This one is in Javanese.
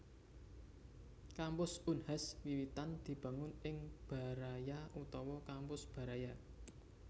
Kampus Unhas wiwitan dibangun ing Baraya utawa Kampus Baraya